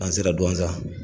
An sera Duwanza.